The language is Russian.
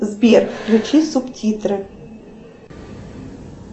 сбер включи субтитры